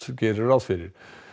gerir ráð fyrir